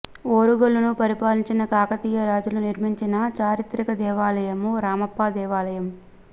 ఓరుగల్లును పరిపాలించిన కాకతీయ రాజులు నిర్మించిన చారిత్రక దేవాలయం రామప్ప దేవాలయం